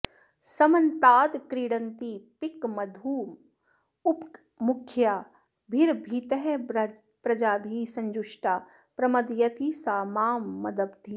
समन्ताद्क्रीडन्ती पिकमधुपमुख्याभिरभितः प्रजाभिः सञ्जुष्टा प्रमदयति सा मां मदधिपा